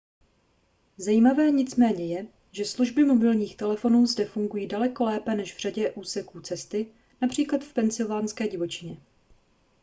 zajímavé nicméně je že služby mobilních telefonů zde fungují daleko lépe než v řadě úseků cesty např v pensylvánské divočině